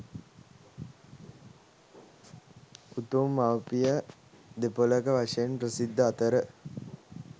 උතුම් මවුපිය දෙපොළක වශයෙන් ප්‍රසිද්ධ අතර